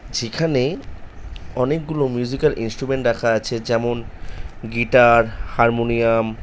যেখানে অনেকগুলো musical instrumental রাখা আছে। যেমন গিটার হারমোনিয়াম ।